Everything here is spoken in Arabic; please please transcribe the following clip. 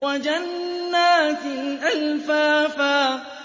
وَجَنَّاتٍ أَلْفَافًا